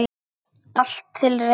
Allt til reiðu.